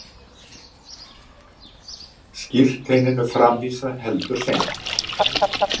Skírteininu framvísað heldur seint